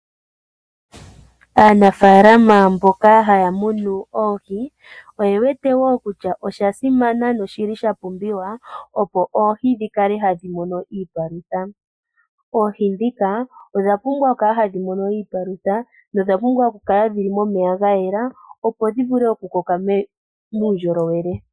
Aanafalama mboka haya munu oohi oye wete wo kutya osha simana noshi li sha pumbiwa, opo oohi dhi kale hadhi mono iipalutha. Oohi ndhika odha pumbwa okukala hadhi mono iipalutha, dho odha pumbwa okukala dhi li momeya ga yela, opo dhi vule okukoka muundjolowele.